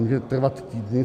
Může trvat týdny.